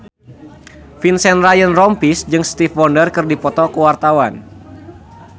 Vincent Ryan Rompies jeung Stevie Wonder keur dipoto ku wartawan